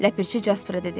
Ləpirçi Jaspara dedi: